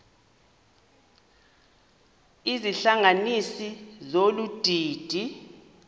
izihlanganisi zolu didi